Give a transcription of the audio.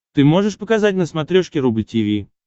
ты можешь показать на смотрешке рубль ти ви